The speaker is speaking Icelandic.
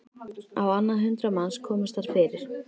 Á annað hundrað manns komust þar fyrir.